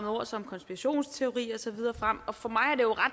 ord som konspirationsteori og så videre frem for mig